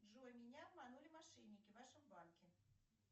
джой меня обманули мошенники в вашем банке